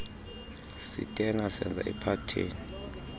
sitena senza iphatheni